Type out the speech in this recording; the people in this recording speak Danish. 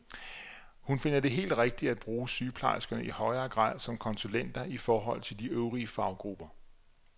Hun finder det helt rigtigt at bruge sygeplejerskerne i højere grad som konsulenter i forhold til de øvrige faggrupper.